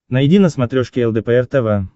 найди на смотрешке лдпр тв